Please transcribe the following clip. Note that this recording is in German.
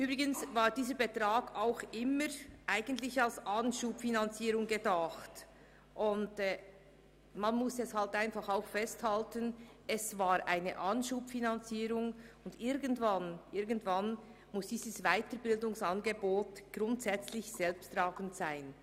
Dieser Betrag war übrigens als Anschubfinanzierung gedacht, und irgendwann muss dieses Weiterbildungsangebot grundsätzlich selbsttragend sein.